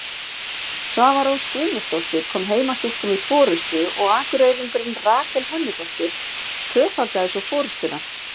Svava Rós Guðmundsdóttir kom heimastúlkum í forystu og Akureyringurinn Rakel Hönnudóttir tvöfaldaði svo forystuna.